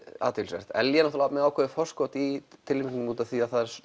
athyglisvert Ellý er með ákveðið forskot í tilnefningum af því